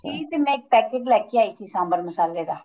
ਸੀ ਤੇ ਮੈਂ ਇੱਕ packet ਲੈ ਕੇ ਆਈ ਸੀ ਸਾਂਬਰ ਮਸਾਲੇ ਦਾ